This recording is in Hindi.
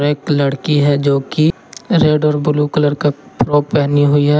एक लड़की है जो की रेड और ब्लू कलर का फ्रॉक पहनी हुई है।